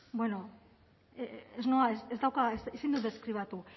bueno ez noa ez dauka ezin dut deskribatu